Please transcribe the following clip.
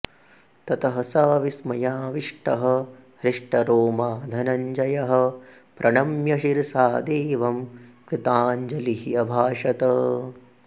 ततः स विस्मयाविष्टः हृष्टरोमा धनञ्जयः प्रणम्य शिरसा देवं कृताञ्जलिः अभाषत